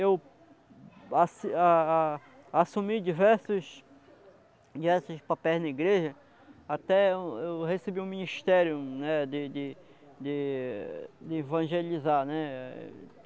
Eu assi a a assumi diversos diversos papéis na igreja, até eu eu recebi um ministério, né, de de de... de evangelizar, né?